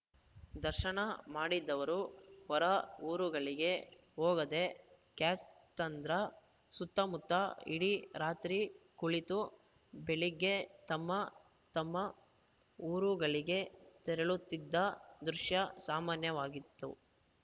ದರ್ಶನ ಮಾಡಿದವರು ಹೊರ ಊರುಗಳಿಗೆ ಹೋಗದೆ ಕ್ಯಾತ್ಸಂದ್ರ ಸುತ್ತಮುತ್ತ ಇಡೀ ರಾತ್ರಿ ಕುಳಿತು ಬೆಳಿಗ್ಗೆ ತಮ್ಮ ತಮ್ಮ ಊರುಗಳಿಗೆ ತೆರಳುತ್ತಿದ್ದ ದೃಶ್ಯ ಸಾಮಾನ್ಯವಾಗಿತ್ತು